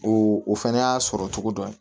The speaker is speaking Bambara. O o fɛnɛ y'a sɔrɔ cogo dɔ ye